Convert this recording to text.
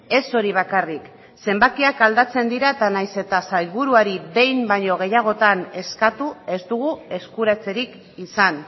ez hori bakarrik zenbakiak aldatzen dira eta nahiz eta sailburuari behin baino gehiagotan eskatu ez dugu eskuratzerik izan